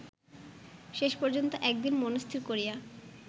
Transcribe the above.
শেষপর্যন্ত একদিন মনস্থির করিয়া